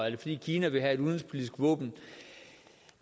er fordi kina vil have et udenrigspolitisk våben